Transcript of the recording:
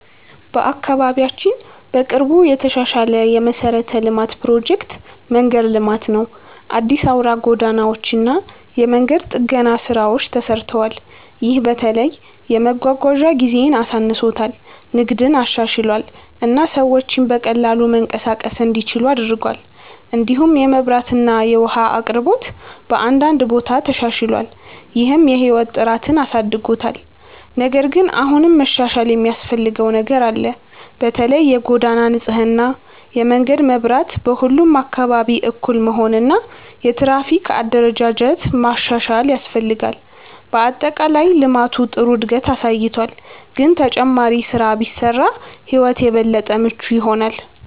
በአካባቢያችን በቅርቡ የተሻሻለ የመሠረተ ልማት ፕሮጀክት መንገድ ልማት ነው። አዲስ አውራ ጎዳናዎች እና የመንገድ ጥገና ስራዎች ተሰርተዋል። ይህ በተለይ የመጓጓዣ ጊዜን አሳንሶታል፣ ንግድን አሻሽሏል እና ሰዎች በቀላሉ መንቀሳቀስ እንዲችሉ አድርጓል። እንዲሁም የመብራት እና የውሃ አቅርቦት በአንዳንድ ቦታ ተሻሽሏል፣ ይህም የህይወት ጥራትን አሳድጎታል። ነገር ግን አሁንም መሻሻል የሚያስፈልገው ነገር አለ። በተለይ የጎዳና ንጽህና፣ የመንገድ መብራት በሁሉም አካባቢ እኩል መሆን እና የትራፊክ አደረጃጀት ማሻሻል ያስፈልጋል። በአጠቃላይ ልማቱ ጥሩ እድገት አሳይቷል፣ ግን ተጨማሪ ስራ ቢሰራ ሕይወት የበለጠ ምቹ ይሆናል።